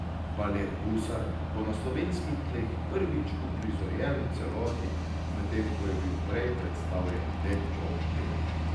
Balet Gusar bo na slovenskih tleh prvič uprizorjen v celoti, medtem ko je bil prej predstavljen le po delih.